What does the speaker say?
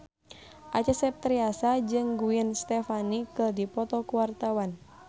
Acha Septriasa jeung Gwen Stefani keur dipoto ku wartawan